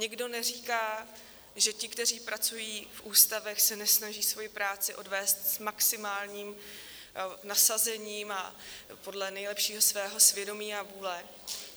Nikdo neříká, že ti, kteří pracují v ústavech, se nesnaží svoji práci odvést s maximálním nasazením a podle nejlepšího svého svědomí a vůle.